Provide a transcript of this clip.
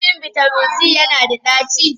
Shin bitamin C yana da ɗaci?